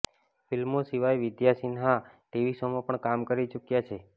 ફિલ્મો સિવાય વિદ્યા સિન્હા ટીવી શોમાં પણ કામ કરી ચૂક્યા છે